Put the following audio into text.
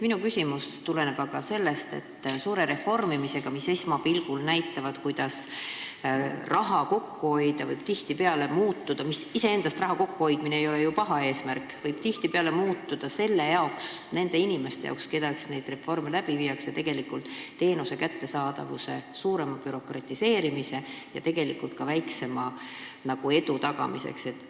Minu küsimus tuleneb aga sellest, et suur reformimine, mis esmapilgul vaadates tegeleb sellega, kuidas raha kokku hoida, võib tihtipeale viia selleni – raha kokkuhoidmine ei ole ju iseendast paha eesmärk –, et nendel inimestel, kelle jaoks neid reforme tehakse, muutub teenuse kättesaamine bürokraatlikumaks ja tegelikult on ka saavutatav edu väiksem.